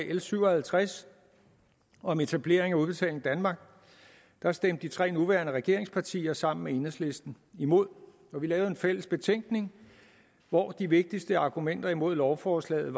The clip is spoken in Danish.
l syv og halvtreds om etablering af udbetaling danmark da stemte de tre nuværende regeringspartier sammen med enhedslisten imod vi lavede en fælles betænkning hvori de vigtigste argumenter imod lovforslaget